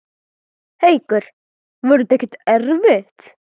Haukur: Var það ekkert erfitt?